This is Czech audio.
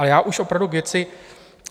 A já už opravdu k věci.